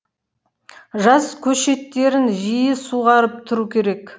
жас көшеттерін жиі суғарып тұру керек